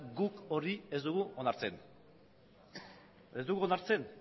guk hori ez dugu onartzen ez dugu onartzen